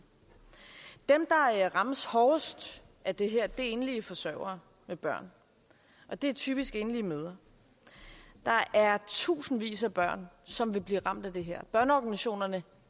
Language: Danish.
dem der rammes hårdest af det her er enlige forsørgere med børn og det er typisk enlige mødre der er tusindvis af børn som vil blive ramt af det her børneorganisationerne